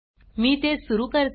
मी ते सुरू प्ले करते